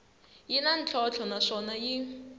yi na ntlhontlho naswona yi